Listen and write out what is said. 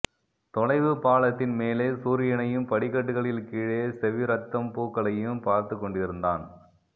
தொலைவுப் பாலத்தின் மேலே சூரியனையும் படிக்கட்டுகளில் கீழே செவ்விரத்தம் பூக்களையும் பார்த்துக் கொண்டிருந்தான்